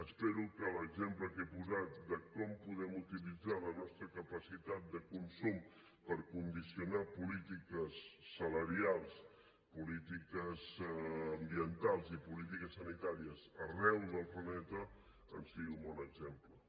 espero que l’exemple que he posat de com podem utilitzar la nostra capacitat de consum per condicionar polítiques salarials polítiques ambientals i polítiques sanitàries arreu del planeta en sigui un bon exemple